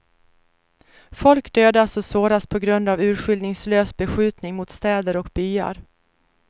Folk dödas och såras på grund av urskiljningslös beskjutning mot städer och byar.